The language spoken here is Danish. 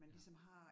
Ja